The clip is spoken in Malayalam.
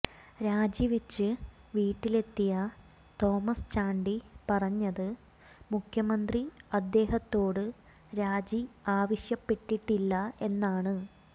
രാജിവെച്ച് വീട്ടിലെത്തിയ തോമസ് ചാണ്ടി പറഞ്ഞത് മുഖ്യമന്ത്രി അദ്ദേഹത്തോട് രാജി ആവശ്യപ്പെട്ടിട്ടില്ല എന്നാണ്